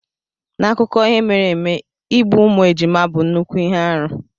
N'akụkọ ihe mere eme, igbu ụmụ ejima bụ nnukwu ihe arụ.